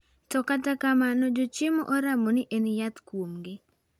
To kata kamano jochiemo oramo ni en yath kuomgi.